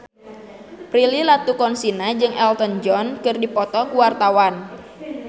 Prilly Latuconsina jeung Elton John keur dipoto ku wartawan